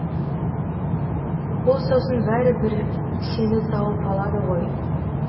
ол сосын бәрі бір сені тауып алады ғой